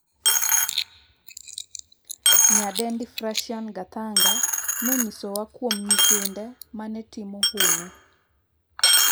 nyadendi Frashia Gathanga nonyisowa kuom nyithinde mane timo hono.